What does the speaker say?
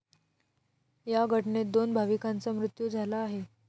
या घटनेत दोन भाविकांचा मृत्यू झाला आहे.